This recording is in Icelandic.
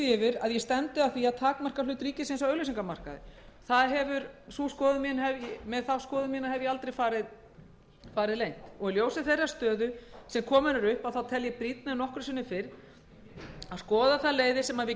að ég stefndi að því að takmarka hlut ríkisins á auglýsingamarkaði ég hef aldrei farið leynt með þá ætlun mína í ljósi þeirrar stöðu sem komin er upp tel ég það brýnna en nokkru sinni fyrr að skoða þær leiðir sem við